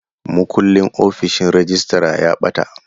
Mukullin ofishin rejistra ya ɓata.